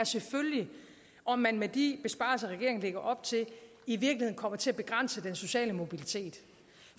selvfølgelig om man med de besparelser regeringen lægger op til i virkeligheden kommer til at begrænse den sociale mobilitet